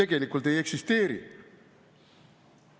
Tegelikult ei eksisteeri.